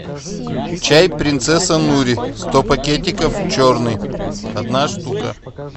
чай принцесса нури сто пакетиков черный одна штука